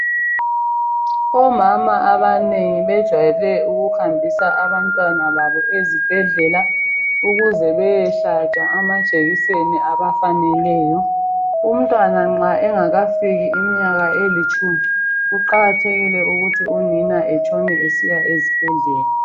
Omama abanengi bejwayele ukuhambisa abantwana babo ezibhedlela ukuze beyehlatshwa amajekiseni abafaneleyo. Umtwana nxa engakafikisi imnyaka elitshumi kuqakathekile ukuthi unina etshone esiya ezibhedlela.